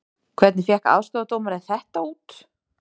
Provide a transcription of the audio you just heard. Hvernig fékk aðstoðardómarinn þetta út????